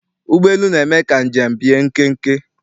Ụgbọelu na-eme ka njem bie nkenke.